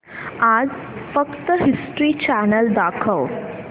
आज फक्त History Channel दाखव